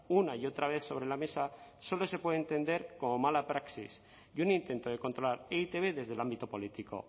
una y otra vez sobre la mesa solo se puede entender como mala praxis y un intento de controlar e i te be desde el ámbito político